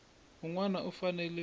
un wana u fanele ku